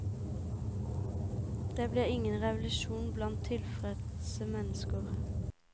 Det blir ingen revolusjon blant tilfredse mennesker.